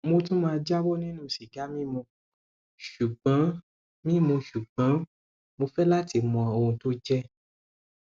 mo tún máa jáwọ nínú sìgá mímu ṣùgbọn mímu ṣùgbọn mo fẹ láti mọ ohun tó jẹ